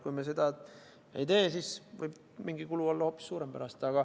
Kui me seda ei tee, siis võib mingi kulu olla hoopis suurem pärast.